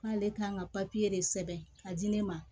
N k'ale kan ka de sɛbɛn ka di ne ma